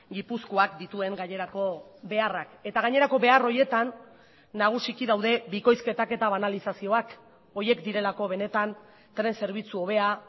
gipuzkoak dituen gainerako beharrak eta gainerako behar horietan nagusiki daude bikoizketak eta banalizazioak horiek direlako benetan tren zerbitzu hobea